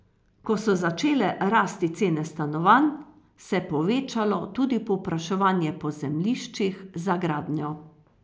Ko so začele rasti cene stanovanj, se je povečalo tudi povpraševanje po zemljiščih za gradnjo.